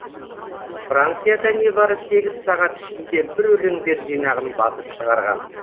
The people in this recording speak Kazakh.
францияда небары сегіз сағат ішінде бір өлеңдер жинағын басып шығарған